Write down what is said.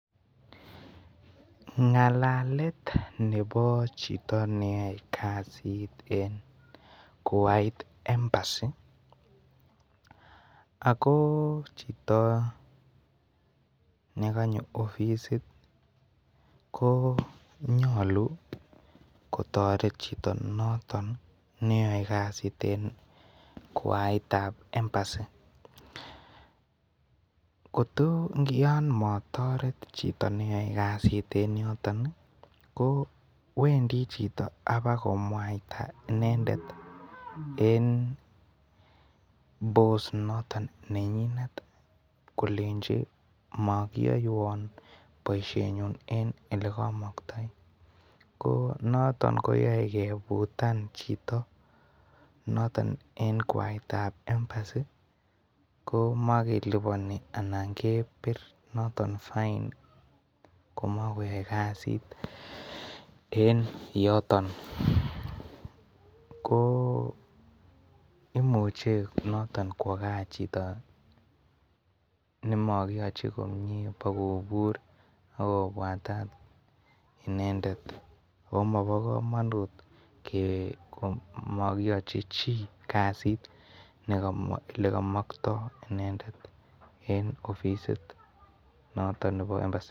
Ngalalet Nebo Chito neyoe kasit en kowait embassy ako Chito nekanyo ofisit ko nyolu kotoret Chito noton neyoe Kasie en kwaitab embassy kotoyon motoret Chito neyoe kasit en yoton ko Wendi Chito abako mwaita inendet en boss noton nenyinet kolenji mokiyoiwon boishenyun en elekomoktoinoton koyoe kebutan Chito noton en kwaet tab embassy ko mokeliboni Alan kepir noton fine komokoyoe kasit en yoton ko imuche kwo gaa chito nemokiyochi komnye kobur akopwatat inendet mobokomonut nemokiyochi chi kasit nogomoche inendet en ofisit noton Nebo embassy